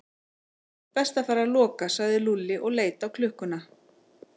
Best að fara að loka sagði Lúlli og leit á klukkuna.